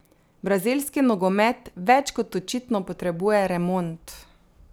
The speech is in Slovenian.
Brazilski nogomet več kot očitno potrebuje remont.